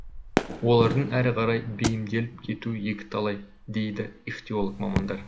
олардың әрі қарай бейімделіп кетуі екі талай дейді ихтиолог мамандар